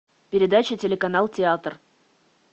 передача телеканал театр